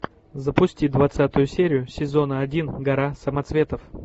запусти двадцатую серию сезона один гора самоцветов